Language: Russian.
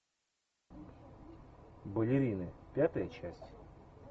балерины пятая часть